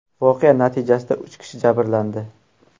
Voqea natijasida uch kishi jabrlandi.